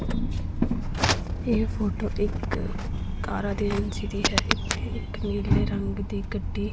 ਇਹ ਫੋਟੋ ਇੱਕ ਕਾਰਾਂ ਦੀ ਏਜੇਂਸੀ ਦੀ ਹੈ ਇੱਥੇ ਇੱਕ ਨੀਲੇ ਰੰਗ ਦੀ ਗੱਡੀ--